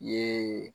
Ye